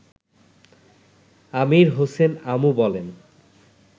আমির হোসেন আমু বলেন